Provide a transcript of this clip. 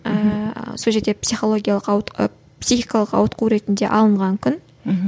ііі сол жерде психологиялық психикалық ауытқу ретінде алынған күн мхм